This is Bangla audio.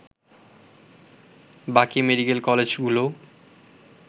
বাকি মেডিকেল কলেজগুলোও